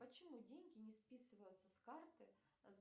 почему деньги не списываются с карты